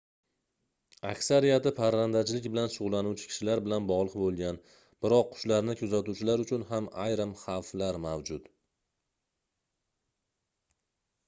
aksariyati parrandachilik bilan shugʻullanuvchi kishilar bilan bogʻliq boʻlgan biroq qushlarni kuzatuvchilar uchun ham ayrim xavflar mavjud